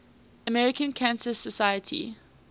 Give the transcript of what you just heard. american cancer society